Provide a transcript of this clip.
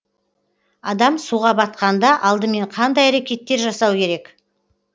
адам суға батқанда алдымен қандай әрекеттер жасау керек